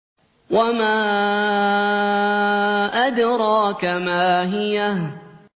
وَمَا أَدْرَاكَ مَا هِيَهْ